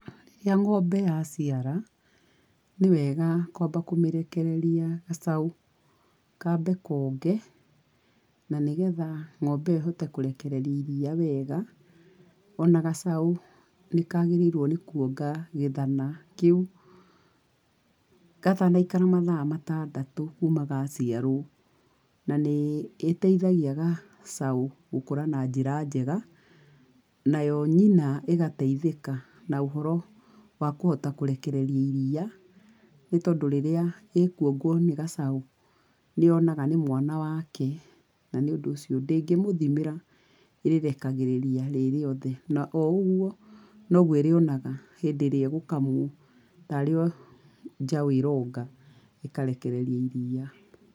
Rĩrĩa ng'ombe ya ciara, nĩ wega kwamba kũmĩrekereria gacaũ kambe koonge, na nĩgetha ng'ombe ĩyo ĩhote kũrekereria iria wega. O na gacau nĩ kaagĩrĩirwo nĩ kũonga gĩthana kĩu gatana ikara mathaa matandatũ kuma gaciarwo, na nĩ ĩteithagia gacaũ gũkũra na njĩra njega. Nayo nyina ĩgateithĩka na ũhoro wa kũhota kũrekereria iria, nĩ tondũ rĩrĩa ĩkuongwo nĩ gacaũ, nĩ yonaga nĩ mwana wake, na nĩũndu ũcio ndĩngĩmũthimĩra ĩrĩrekagĩrĩria rĩ rĩothe. Na o ũguo no guo ĩrĩonaga hĩndĩ ĩrĩa ĩgũkamwo, tarĩ o njaũ ĩroonga, ĩkarekereria iria.